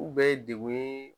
U bɛ dekun ye